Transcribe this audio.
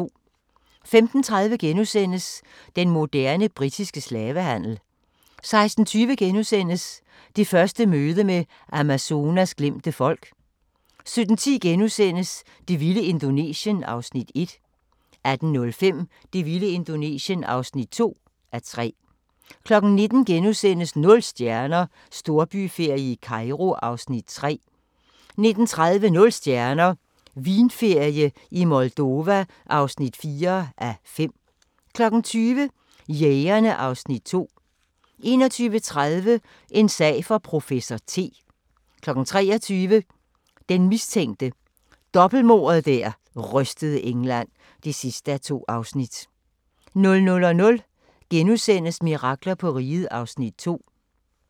15:30: Den moderne britiske slavehandel * 16:20: Det første møde med Amazonas glemte folk * 17:10: Det vilde Indonesien (1:3)* 18:05: Det vilde Indonesien (2:3) 19:00: Nul stjerner - Storbyferie i Kairo (3:5)* 19:30: Nul stjerner – Vinferie i Moldova (4:5) 20:00: Jægerne (Afs. 2) 21:30: En sag for professor T 23:00: Den mistænkte – dobbeltmordet der rystede England (2:2) 00:00: Mirakler på Riget (Afs. 2)*